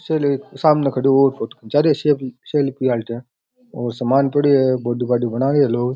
शीशे के सामने खड़ो है जा रे हो सेल्फी लेन और सामान पड़ियो है बॉडी बाडी बना रे है लोग।